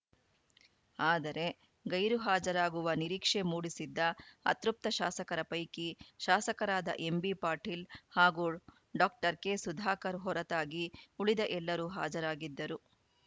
ಆದರೆ ಗೈರು ಹಾಜರಾಗುವ ನಿರೀಕ್ಷೆ ಮೂಡಿಸಿದ್ದ ಅತೃಪ್ತ ಶಾಸಕರ ಪೈಕಿ ಶಾಸಕರಾದ ಎಂಬಿಪಾಟೀಲ್‌ ಹಾಗೂ ಡಾಕ್ಟರ್ ಕೆಸುಧಾಕರ್‌ ಹೊರತಾಗಿ ಉಳಿದ ಎಲ್ಲರೂ ಹಾಜರಾಗಿದ್ದರು